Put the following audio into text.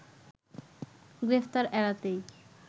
গ্রেপ্তার এড়াতেই